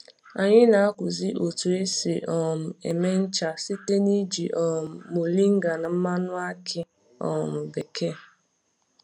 Anyị na-akụzi otu esi um eme ncha site n'iji um mọrịnga na mmanụ akị um bekee